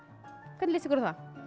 hvernig líst ykkur á það